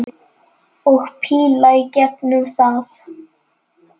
Og píla í gegnum það!